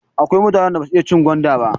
Akwai mutanen da basu iya cin gwanda ba.